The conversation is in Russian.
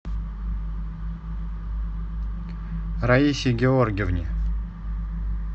раисе георгиевне